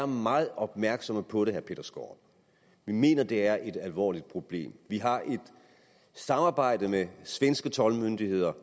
meget opmærksomme på det her vi mener at det er et alvorligt problem vi har her et samarbejde med de svenske toldmyndigheder